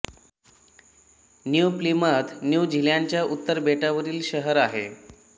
new Plymouth New झीलॅंडच्या उत्तर बेटावरील शहर आहे